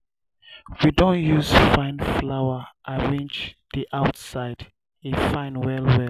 um we don use fine flower arrange um di outside e fine well-well.